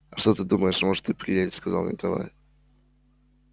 а что ты думаешь может и приедет сказал николай